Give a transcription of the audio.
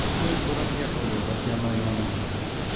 сөз депутат яковлева татьяна ивановнаға беріледі